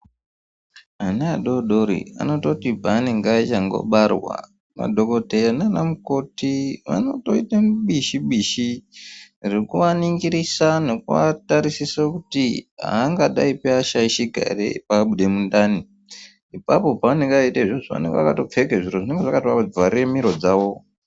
Ana adori-dori anototi paanenge achandobarwa, madhogodheya nanamukoti vanotoita bishi-bishi rekuaningisira nekuatarisisa kuti aangadaipi ashaishika ere abude mundani. Ipapo paanenge eitoita izvozvo, anenge akatopfeke zviro zvinenge zvakatoavhare miro dzawo.